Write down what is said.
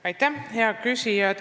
Aitäh, hea küsija!